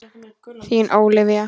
Þín Ólafía.